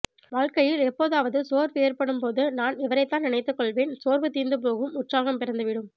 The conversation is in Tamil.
வாழ்க்கையில் எப்போதாவது சோர்வு ஏற்படும் போது நான் இவரைத்தான் நினைத்துக் கொள்வேன் சோர்வு தீர்ந்து போகும் உற்சாகம் பிறந்துவிடும்